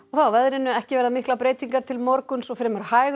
að veðri ekki verða miklar breytingar til morguns og fremur hæg